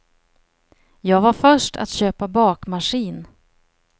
Jag var först att köpa bakmaskin.